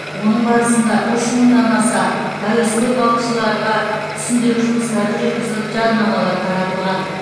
оның барысында үш мыңнан аса әуесқой балықшыларға түсіндіру жұмыстары жүргізіліп жадынамалар таратылған